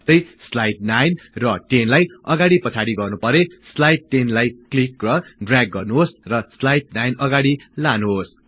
जस्तै स्लाईड 9 र 10 लाई अगाडि पछाडि गर्नुपरे स्लाईड 10 लाई क्लिक र ड्रयाग गर्नुहोस् र स्लाइड 9 अगाडि लानुहोस्